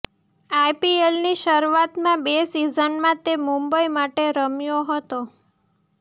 આઈપીએલની શરૂઆતી બે સિઝનમાં તે મુંબઈ માટે રમ્યો હ્તો